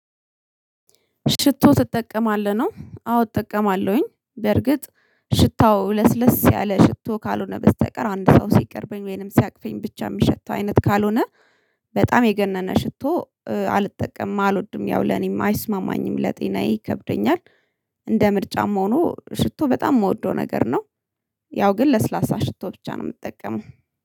ሽቶ ትጠቀማለህ? ነው አዎ እጠቀማለሁኝ በርግጥ ሽታው ለስለስ ያለ ሽቶ ካልሆነ በስተቀር አንድ ሰው ሲቀርበኝ ወይንም ሲያቅፈኝ ብቻ የሚሸተው አይነት ካልሆነ በጣም የገነነ ሽቶ አልጠቀምም፣ አልወድም ያው ለኔም አይስማማኝም ለጤናዬ ይከብደኛል እንደ ምርጫም ሆኖ ሽቶ በጣም የምወደው ነገር ነው። ያው ግን ለስላሳ ሽቶ ብቻ ነው የምትጠቀመው